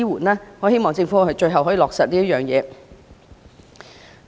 我真的希望政府最終能落實這個方案。